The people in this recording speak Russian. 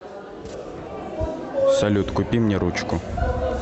салют купи мне ручку